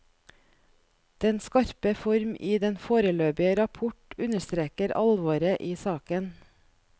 Den skarpe form i den foreløpige rapport understreker alvoret i saken.